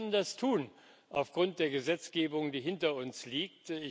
Und wir können das tun aufgrund der Gesetzgebung, die hinter uns liegt.